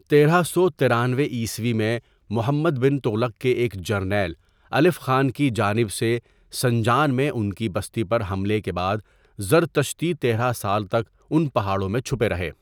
تیرہ سو ترانوے عیسوی میں محمد بن تغلق کے ایک جرنیل الف خان کی جانب سے سنجان میں ان کی بستی پر حملے کے بعد زرتشتی تیرہ سال تک ان پہاڑوں میں چھپے رہے۔